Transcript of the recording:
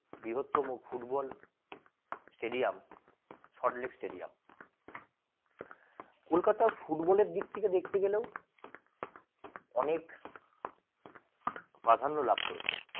বৃহত্তম football stadium Salt Lake stadium কলকাতায় ফুটবলের দিক থেকে দেখতে গেলেও অনেক প্রাধান্য লাভ করেছে।